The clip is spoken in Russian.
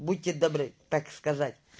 будьте добры так сказать